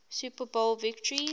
super bowl victories